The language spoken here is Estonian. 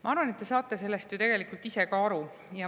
Ma arvan, et te saate sellest ju tegelikult ise ka aru.